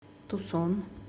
тусон